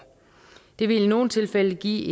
det vil i nogle tilfælde give